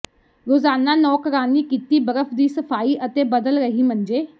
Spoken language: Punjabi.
ਰੋਜ਼ਾਨਾ ਨੌਕਰਾਣੀ ਕੀਤੀ ਬਰਫ ਦੀ ਸਫਾਈ ਅਤੇ ਬਦਲ ਰਹੀ ਮੰਜੇ